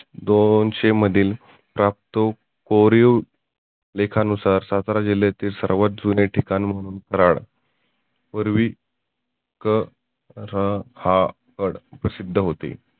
दोनशे मधील टाप तो पोरिओ लेखा नुसार सातारा जिल्ह्यातील सर्वात जुने ठिकाण कराड. पुर्वी क र हा ड प्रसिद्ध होते.